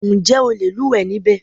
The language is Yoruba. Ǹjẹ́ o le lúùwẹ́ níbẹ̀?